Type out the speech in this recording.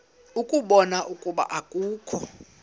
ukubona ukuba akukho